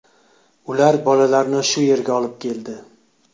Ular bolalarni shu yerga olib keldi.